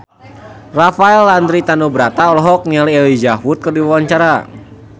Rafael Landry Tanubrata olohok ningali Elijah Wood keur diwawancara